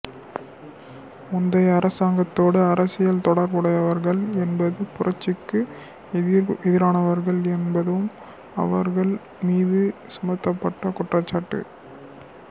முந்தைய அரசாங்கத்தோடு அரசியல் தொடர்புடையவர்கள் என்பதும் புரட்சிக்கு எதிரானவர்கள் என்பதும் அவர்கள் மீது சுமத்தப்பட்ட குற்றச்சாட்டு